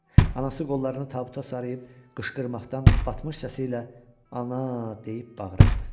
Anası qollarını tabuta sarıyıb qışqırmaqdan batmış səsi ilə "Ana!" deyib bağırırdı.